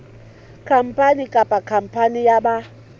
khampani kapa khampani ya ba